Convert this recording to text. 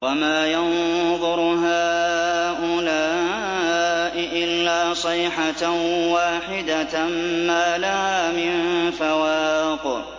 وَمَا يَنظُرُ هَٰؤُلَاءِ إِلَّا صَيْحَةً وَاحِدَةً مَّا لَهَا مِن فَوَاقٍ